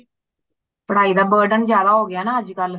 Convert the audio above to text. ਪੜਾਇ ਦਾ burden ਜ਼ਿਆਦਾ ਹੋ ਗਯਾ ਨਾ ਅੱਜ ਕੱਲ